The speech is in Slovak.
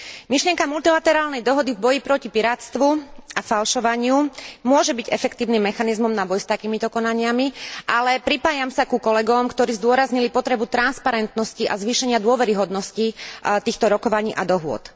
Myšlienka multilaterálnej dohody v boji proti pirátstvu a falšovaniu môže byť efektívnym mechanizmom na boj s takýmito konaniami, ale pripájam sa ku kolegom, ktorí zdôraznili potrebu transparentnosti a zvýšenia dôveryhodnosti týchto rokovaní a dohôd.